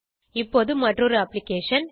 இப்போது மற்றொரு அப்ளிகேஷன்